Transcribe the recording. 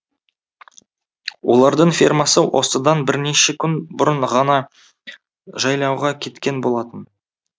олардың фермасы осыдан бірнеше күн бұрын ғана жайлауға кеткен болатын